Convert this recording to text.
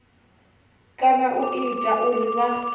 kana u ita uri vha